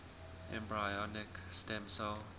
embryonic stem cell